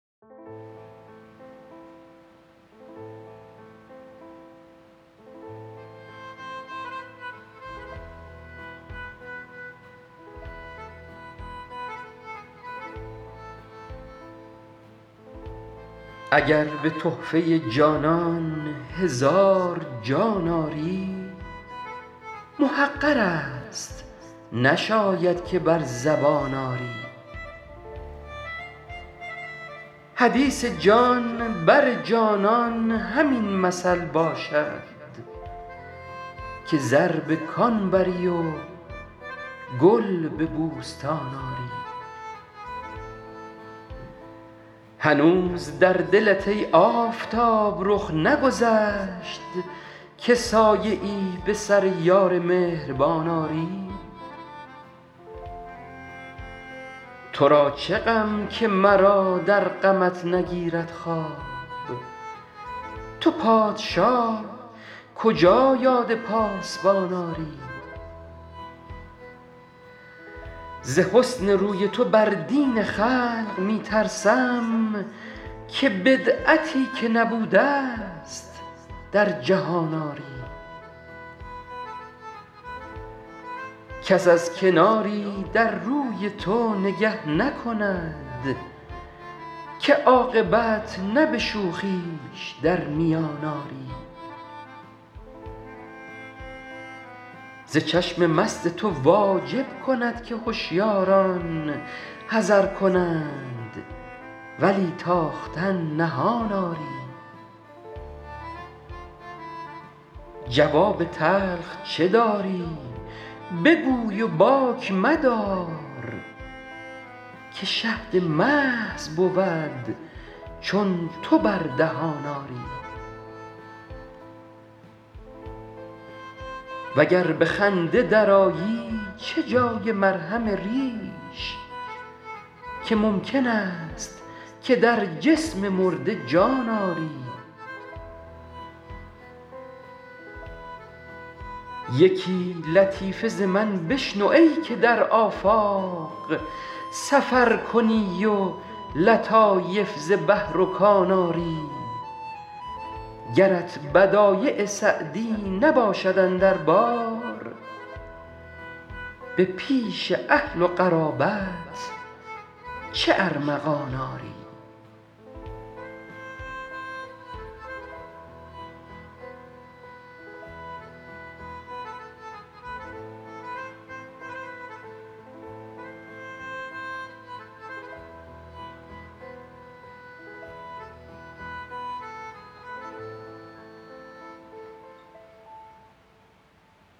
اگر به تحفه جانان هزار جان آری محقر است نشاید که بر زبان آری حدیث جان بر جانان همین مثل باشد که زر به کان بری و گل به بوستان آری هنوز در دلت ای آفتاب رخ نگذشت که سایه ای به سر یار مهربان آری تو را چه غم که مرا در غمت نگیرد خواب تو پادشاه کجا یاد پاسبان آری ز حسن روی تو بر دین خلق می ترسم که بدعتی که نبوده ست در جهان آری کس از کناری در روی تو نگه نکند که عاقبت نه به شوخیش در میان آری ز چشم مست تو واجب کند که هشیاران حذر کنند ولی تاختن نهان آری جواب تلخ چه داری بگوی و باک مدار که شهد محض بود چون تو بر دهان آری و گر به خنده درآیی چه جای مرهم ریش که ممکن است که در جسم مرده جان آری یکی لطیفه ز من بشنو ای که در آفاق سفر کنی و لطایف ز بحر و کان آری گرت بدایع سعدی نباشد اندر بار به پیش اهل و قرابت چه ارمغان آری